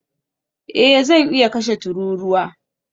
Eh zan iya kashe tururuwa